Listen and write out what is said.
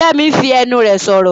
Fẹ́mi fi ẹnu rẹ̀ sọ̀rọ̀.